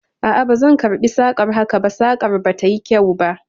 A a, bazan karɓi sakar haka ba, sakar ba ta yi kyau ba.